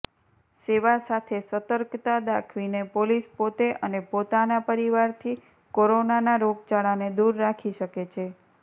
સેવા સાથે સતર્કતા દાખવીને પોલીસ પોતે અને પોતાના પરિવારથી કોરોનાના રોગચાળાને દૂર રાખી શકે છે